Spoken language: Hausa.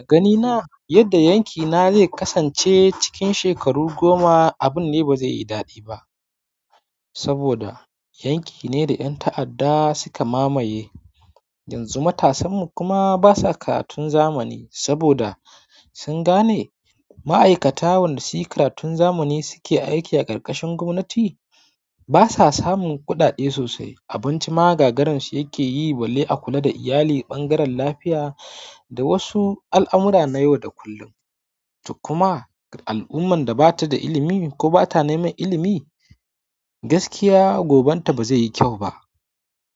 A ganina yadda yankina zai kasance cikin shekaru goma, abun ne ba zai yi daɗi ba saboda yanki ne da ƴan ta'adda suka mamaye, yanzu matasanmu kuma basa karatun zamani saboda sun gane ma'aikata waɗanda suke karatun zamani suke aiki a ƙarƙashin gwamnati basa samun kuɗaɗe sosai. Abinci ma gagaransu yake yi, balle a kula da iyali, ɓangaren lafiya da wasu al'amura na yau da kullum. Kuma al'ummar da bata da ilimi ko bata neman ilimi gaskiya goban ta ba zai yi kyau ba.